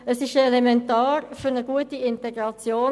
Es ist elementar für eine gute Integration;